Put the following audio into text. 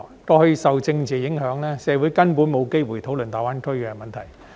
過去受政治影響，社會根本沒有機會討論大灣區的問題。